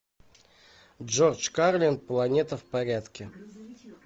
джордж карлин планета в порядке